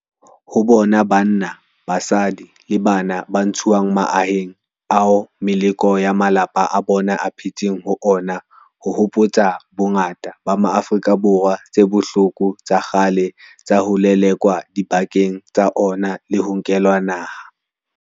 Ho bona banna, basadi le bana ba ntshuwa mahaeng ao meloko ya malapa a bona e phetseng ho ona ho hopotsa bongata ba Maafrika Borwa tse bohloko tsa kgale tsa ho lelekwa dibakeng tsa ona le ho nkelwa naha.